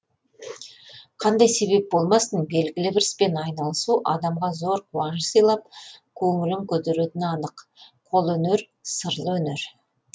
қандай себеп болмасын белгілі бір іспен айналысу адамға зор қуаныш сыйлап көңілін көтеретіні анық қолөнер сырлы өнер